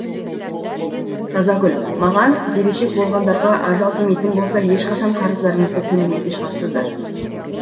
тазагүл маған берешек болғандарға ажал тимейтін болса ешқашан қарыздарыңызды төлемейтін шығарсыздар